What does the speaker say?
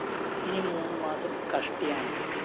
ഇനി മൂന്ന് മാസം കഷ്ടിയാണ്